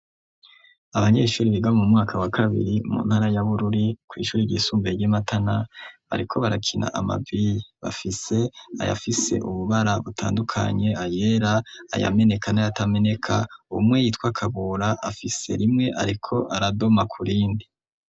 Abanyeshure biga mu mwaka wa kabiri mu ntara y'abururi kw'shure ryisumbiye ry'imatana ariko barakina amabiye bafise ayafise ububara butandukanye ayera aya meneka nayatameneka umwe yitwa kabura afise rimwe ariko aradoma kurindi.